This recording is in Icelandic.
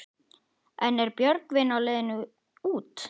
En er Björgvin á leiðinni út?